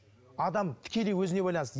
адам тікелей өзіне байланысты